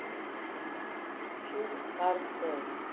Sú varð raunin